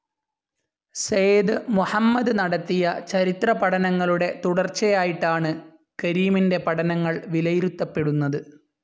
സയ്ദ് മുഹമ്മദ് നടത്തിയ ചരിത്രപഠനങ്ങളുടെ തുടർച്ചയായിട്ടാണ് കരീമിൻ്റെ പഠനങ്ങൾ വിലയിരുത്തപ്പെടുന്നത്.